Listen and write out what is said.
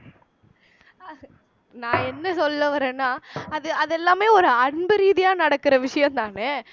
நான் என்ன சொல்ல வர்றேன்னா அது அது அதெல்லாமே ஒரு அன்பு ரீதியா நடக்கிற விஷயம்தானே